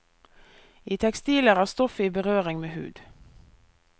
I tekstiler er stoffet i berøring med hud.